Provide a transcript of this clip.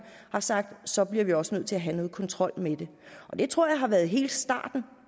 har sagt så bliver vi også nødt til at have noget kontrol med det det tror jeg har været hele starten